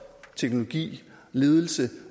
teknologi ledelse